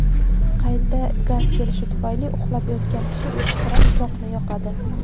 qayta gaz kelishi tufayli uxlab yotgan kishi uyqusirab chiroqni yoqadi.